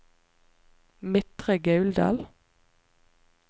Midtre Gauldal